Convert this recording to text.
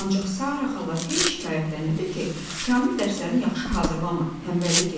Ancaq Sara xala heç şikayətlənirdi ki, Kamil dərslərini yaxşı hazırlamır, tənbəllik edir.